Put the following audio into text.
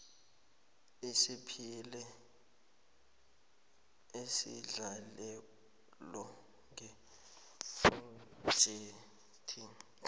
usiphile isendlalelo ngephrojekhthi